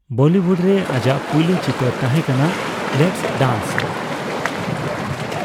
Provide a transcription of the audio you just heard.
Bollywood ᱨᱮ ᱟᱡᱟᱜ ᱯᱩᱭᱞᱩ ᱪᱤᱛᱟᱹᱨ ᱛᱟᱦᱮᱸ ᱠᱟᱱᱟ ᱞᱮᱴᱥ ᱰᱟᱱᱥ ᱾